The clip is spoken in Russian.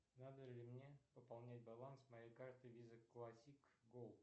надо ли мне пополнять баланс моей карты виза классик голд